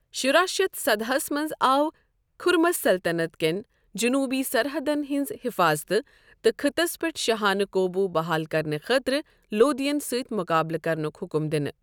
شُراہ شتھ سداہ ہس منٛز آو خُرَمس سلطَنت کِین جنوٗبی سرحَدن ہِنٛزِ حِفاظتہِ تہٕ خٕطس پٮ۪ٹھ شاہانہٕ قوبوٗ بحال کرنہٕ خٲطرٕ لودِھیَن سۭتۍ مٗقابلہٕ كرنٗک حٗكم دِنہٕ ۔